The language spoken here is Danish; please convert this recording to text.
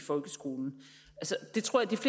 et trygt